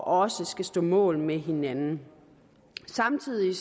også skal stå mål med hinanden samtidig